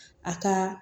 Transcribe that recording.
A ka